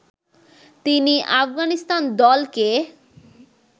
তিনি আফগানিস্তান দলকে